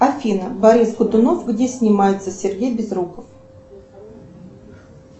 афина борис годунов где снимается сергей безруков